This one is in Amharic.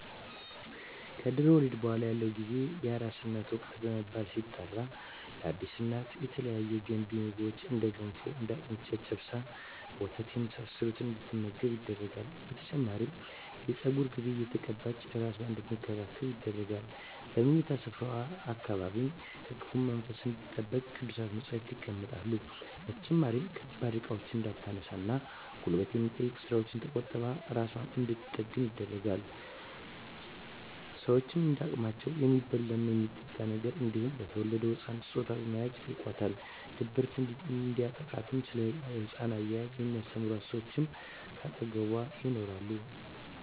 ከድህረ ወሊድ በኃላ ያለው ጊዜ የአራስነት ወቅት በመባል ሲጠራ ለአዲስ እናት የተለያዩ ገንቢ ምግቦች እንደ ገንፎ፣ አጥሚት፣ ጨጨብሳ፣ ወተት የመሳሰለውን እንድትመገብ ይደረጋል። በተጨማሪም የፀጉር ቅቤ እየተቀባች እራሷን አንድትንከባከብ ይደረጋል። በምኝታ ስፍራዋ አካባቢም ከክፉ መንፈስ እንድትጠበቅ ቅዱሳት መፀሃፍት ይቀመጣሉ። በተጨማሪም ከባድ እቃዎችን እንዳታነሳ እና ጉልበት ከሚጠይቁ ስራወች ተቆጥባ እራሷን እንድንትጠግን ይደረጋል። ሸወችም እንደ አቅማቸው የሚበላ እና የሚጠጣ ነገር እንዲሁም ለተወለደዉ ህፃን ስጦታ በመያዝ ይጨይቋታል። ድብርት እንዲያጠቃትም እና ስለ ህፃን አያያዝ የሚስተምሯት ሰወች ከአጠገቧ ይኖራሉ።